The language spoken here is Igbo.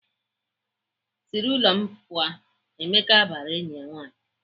"Sị n'ụlọ m pụọ! " Emeka bara enyi ya nwaanyị.